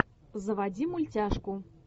заводи мультяшку